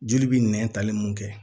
Joli bɛ nɛn tali mun kɛ